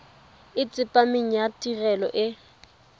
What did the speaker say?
e tsepameng ya tirelo e